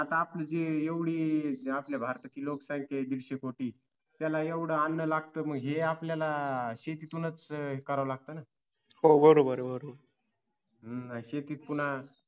आता आपली जी एवढी भारत ची लोकसंख्या आहे दीडशे कोटी त्याला एवढं अन्न लागतं मग हे आपल्याला शेतीतूनच हे करावं लागतं ना हम्म शेतीत पुन्हा